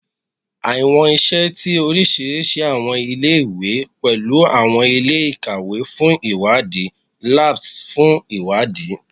Awọn iṣẹ ti orisirisi awọn ile-iwe awọn ile-iwe pẹlu awọn ile-ikawe fun iwadi, labs fun iwadi